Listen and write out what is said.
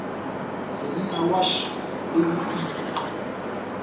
monna wa š le boima